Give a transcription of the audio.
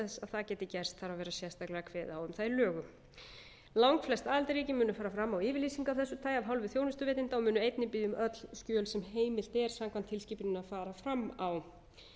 það geti gerst þarf að vera sérstaklega kveðið á um það í lögum langflest aðildarríki munu fara fram á yfirlýsingu af þessu tagi af hálfu þjónustuveitenda og munu einnig biðja um öll skjöl sem heimilt er samkvæmt tilskipuninni að fara fram á